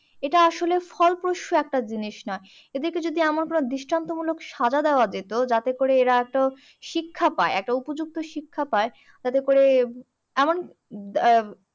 এইটা আসলে ফলপ্রসূ একটা জিনিস না। এটাকে যদি আমার কোনো দৃষ্টান্তমূলক সাজা দেওয়া যেত, যাতে করে এরা তো শিক্ষা পায়। একটা উপযুক্ত শিক্ষা পায়। তাতে করে এমন আহ